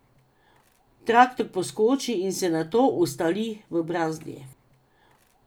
Traktor poskoči in se nato ustali v brazdi.